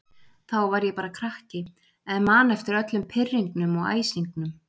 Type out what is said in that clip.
Þá var ég bara krakki en man eftir öllum pirringnum og æsingnum.